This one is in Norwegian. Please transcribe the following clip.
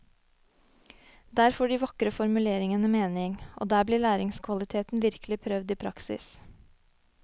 Der får dei vakre formuleringane meining, og der blir læringskvaliteten verkeleg prøvd i praksis.